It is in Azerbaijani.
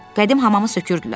Qədim hamamı sökürdülər.